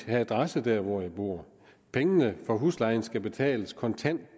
have adresse der hvor man bor pengene for huslejen skal betales kontant